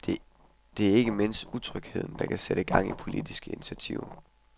Og det er ikke mindst utrygheden, der kan sætte gang i politiske initiativer.